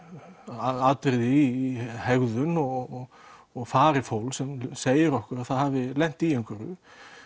atriði í hegðun og og fari fólks sem segir okkur að það hafi lent í einhverju